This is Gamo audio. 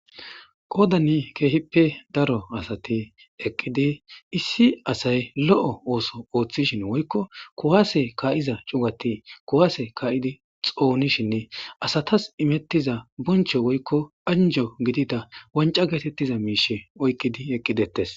Qodani kehippe daro asati eqidi asay lo'o oththo oththishin kuwasse ka"iza cugati ka'ishinine woyikko kuwase ka'idi xonishin asatas imetiza bonchcho woyikko anjo getetiza wanca oykiddi eqidi detes